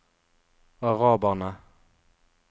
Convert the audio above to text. araberne